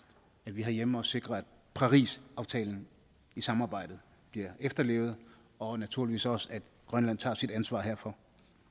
herhjemme sikrer at parisaftalen i samarbejdet bliver efterlevet og naturligvis også at grønland tager sit ansvar herfor